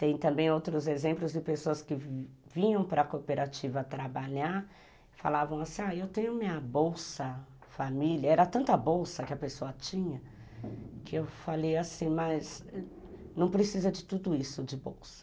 Tem também outros exemplos de pessoas que vinham para a cooperativa trabalhar, falavam assim, eu tenho minha bolsa família, era tanta bolsa que a pessoa tinha, que eu falei assim, mas não precisa de tudo isso de bolsa.